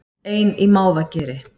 Ein í mávageri